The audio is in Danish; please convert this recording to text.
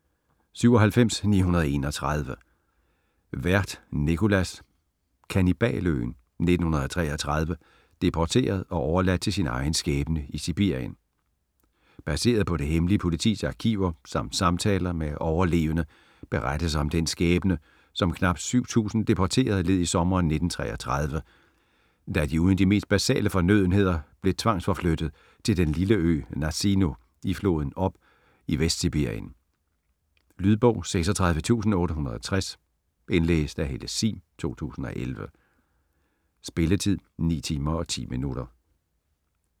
97.931 Werth, Nicolas: Kannibaløen: 1933 - deporteret og overladt til egen skæbne i Sibirien Baseret på det hemmelige politis arkiver samt samtaler med overlevende berettes om den skæbne, som knapt 7000 deporterede led i sommeren 1933 da de uden de mest basale fornødenheder blev tvangsforflyttet til den lille ø Nazino i floden Ob i Vestsibirien. Lydbog 36860 Indlæst af Helle Sihm, 2011. Spilletid: 9 timer, 10 minutter.